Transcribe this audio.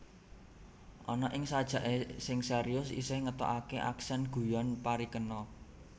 Ana ing sajake sing serius isih ngetokake aksen guyon parikena